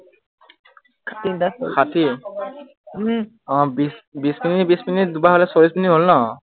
ষাঠী আহ বিশ মিনিট বিশ মিনিট দুবাৰ হলে চল্লিশ মিনিট হল ন